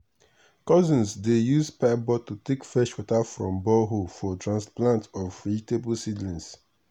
cousins dey use pipe bottle take fetch water from borehole for transplant of vegetable seedling.